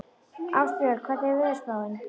Ástbjörn, hvernig er veðurspáin?